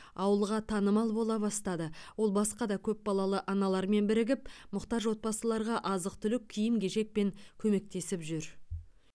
ауылға танымал бола бастадыол басқа да көпбалалы аналармен бірігіп мұқтаж отбасыларға азық түлік киім кешекпен көмектесіп жүр